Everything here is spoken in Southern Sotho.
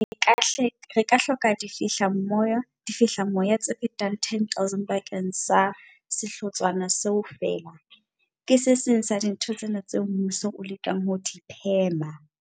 Re ka hloka difehlamoya tse fetang 10 000 bakeng sa sehlotshwana seo feela. Ke se seng sa dintho tsena tseo mmuso o lekang ho di phema.